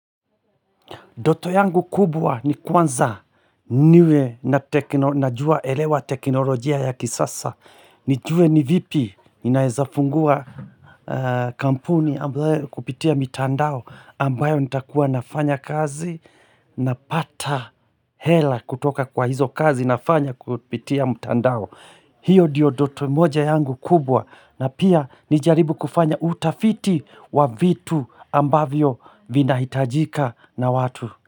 Ndoto yangu kubwa ni kwanza niwe najua naelewa teknolojia ya kisasa. Nijue ni vipi ninaezafungua kampuni ambayo kupitia mitandao ambayo nitakuwa nafanya kazi napata hela kutoka kwa hizo kazi nafanya kupitia mitandao. Hiyo ndiyo doto moja yangu kubwa na pia nijaribu kufanya utafiti wa vitu ambavyo vinahitajika na watu.